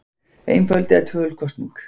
Einföld eða tvöföld kosning